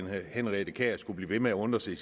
henriette kjær skulle blive ved med at undre sig